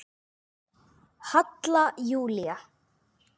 Halla Júlía.